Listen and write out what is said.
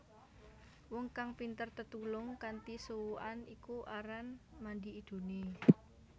Wong kang pinter tetulung kanthi suwukan iku aran mandi idune